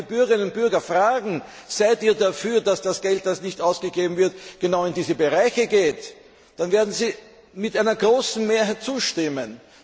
Wenn wir die Bürgerinnen und Bürger fragen, ob sie dafür sind, dass das Geld, das nicht ausgegeben wird, genau in diese Bereiche geht, dann werden sie mit großer Mehrheit zustimmen.